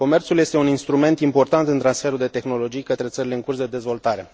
Comerțul este un instrument important în transferul de tehnologii către țările în curs de dezvoltare.